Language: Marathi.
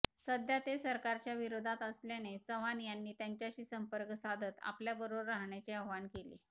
सध्या ते सरकारच्याविरोधात असल्याने चव्हाण यांनी त्यांच्याशी संपर्क साधत आपल्याबरोबर राहण्याचे आवाहन केले